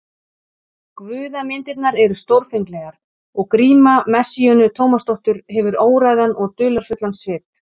Guðamyndirnar eru stórfenglegar og gríma Messíönu Tómasdóttur hefur óræðan og dularfullan svip.